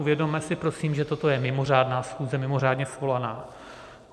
Uvědomme si prosím, že toto je mimořádná schůze, mimořádně svolaná.